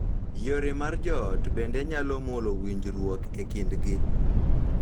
Yore mag joot bende nyalo mulo winjruok e kindgi